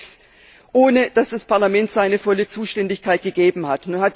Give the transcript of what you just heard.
8.6 ohne dass das Parlament seine volle Zustimmung gegeben hat.